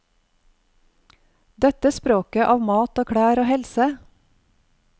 Dette språket av mat og klær og helse.